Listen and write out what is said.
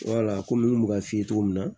komi n kun bɛ ka f'i ye cogo min na